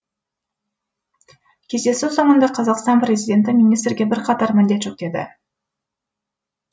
кездесу соңында қазақстан президенті министрге бірқатар міндет жүктеді